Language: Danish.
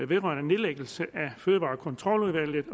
vedrørende nedlæggelse af fødevarekontroludvalget